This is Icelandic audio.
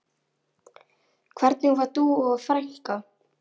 Hvernig var Dúa frænka?